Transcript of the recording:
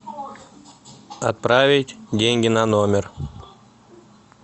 отправить деньги на номер